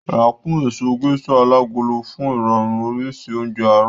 Rà kún èso Gẹ́sà alágolo fún irọrun oríṣi oúnjẹ àárọ̀